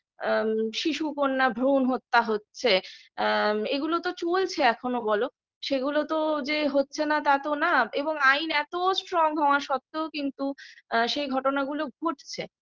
আ শিশু কন্যা ভ্রুন হত্যা হচ্ছে আ এগুলো তো চলছে এখনো বলো সেগুলো তো যে হচ্ছে না তা তো না এবং আইন এত storng হওয়া সত্ত্বেও কিন্তু আ সেই ঘটনাগুলো ঘটছে